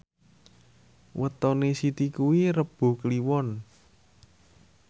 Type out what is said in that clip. wetone Siti kuwi Rebo Kliwon